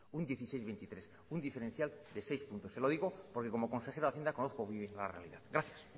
un dieciséis coma veintitrés por ciento un diferencial de seis puntos se lo digo porque como consejero de hacienda conozco muy bien la realidad gracias